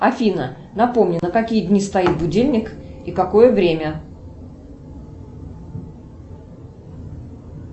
афина напомни на какие дни стоит будильник и какое время